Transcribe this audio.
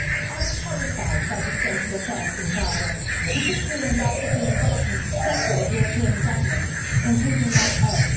I'm horrified by the state of affairs in Bahrain, particularly in light of the involvement of several European governments, including my own.